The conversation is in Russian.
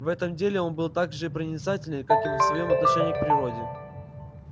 в этом деле он был так же проницателен как и во своём отношении к природе